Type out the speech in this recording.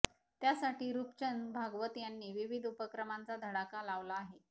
त्यासाठी रुपचंद भागवत यांनी विविध उपक्रमांचा धडाका लावला आहे